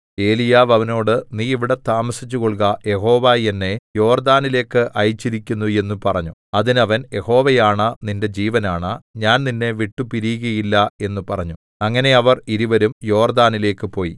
ഏലീയാവ് അവനോട് നീ ഇവിടെ താമസിച്ചുകൊള്ളുക യഹോവ എന്നെ യോർദ്ദാനിലേക്ക് അയച്ചിരിക്കുന്നു എന്ന് പറഞ്ഞു അതിന് അവൻ യഹോവയാണ നിന്റെ ജീവനാണ ഞാൻ നിന്നെ വിട്ടുപിരിയുകയില്ല എന്ന് പറഞ്ഞു അങ്ങനെ അവർ ഇരുവരും യോർദാനിലേക്ക് പോയി